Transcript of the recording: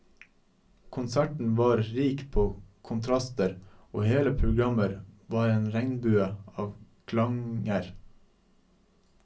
Konserten var rik på kontraster, og hele programmet var en regnbue av klanger.